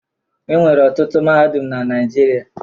E nwere ọtụtụ mahadum na Naịjirịa.